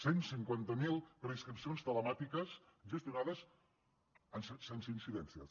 cent i cinquanta miler preinscripcions telemàtiques gestionades sense incidències